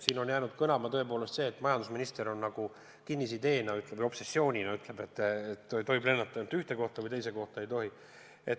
Siin on jäänud kõlama see, et majandusminister nagu kinnisideena või obsessioonina ütleb, et tohib lennata ainult ühte kohta ja teise kohta ei tohi.